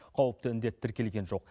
қауіпті індет тіркелген жоқ